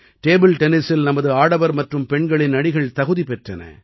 table டென்னிஸில் நமது ஆடவர் மற்றும் பெண்களின் அணிகள் தகுதி பெற்றன